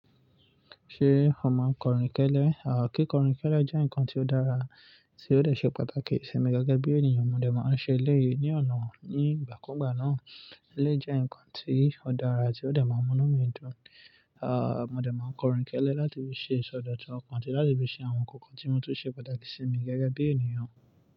Ṣé ó máa ń kọrin kẹ́lẹ́? À kí kọrin kẹ́lẹ́ jẹ́ nǹkan tí ó dára tí ó lè ṣe pàtàkì sí mi gẹ́gẹ́ bí ènìyàn. Mo dè máa ń ṣe eléyìí ní ọ̀nà nígbà kúùgbà náà. Eléyìí jẹ́ nǹkan tí ó dára tí ó dè máa inu mí dùn. À mo dè máa ń kọrin kẹ́lẹ́ láti fi ṣe ìsọdọ̀tun ọkàn àti láti fi ṣe àwọn nǹkan tí mo tún ṣe pàtàkì sí mi gẹ́gẹ́ bí ènìyàn.